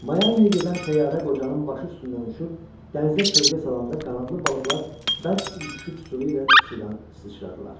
Mayamiyə gedən təyyarə qocanın başı üstündən uçub, dənizə kölgə salanda qanadlı balıqlar bərk ürküşüb sürü ilə sudan sıçradılar.